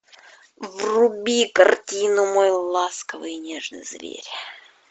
вруби картину мой ласковый и нежный зверь